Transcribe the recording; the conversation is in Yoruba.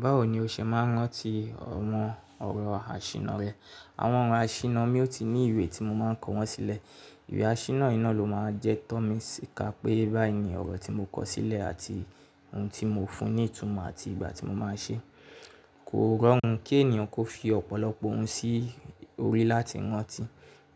Báwo ni o ṣe máa ń rántí awon ọ̀rọ̀ àṣìná rẹ? Àwọn ọ̀rọ̀ àṣìná mi ó ti ní ìwé tí mo máa ń kọ wọ́n sílẹ̀. Ìwé àṣìná yi ló máa jẹ́ tọ́ mí sí ká pé báyìí ni ọ̀rọ̀ tí mo kọ sílẹ̀ àti ohun tí mo fún ní ìtumọ̀ àti ìgbà tí mo máa ṣe. Kò rọrùn kí ènìyàn kó fi ọ̀pọ̀lọpọ̀ ohun sí orí láti rántí,